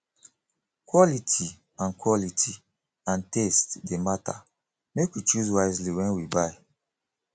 quality and quality and taste dey matter make we choose wisely wen we buy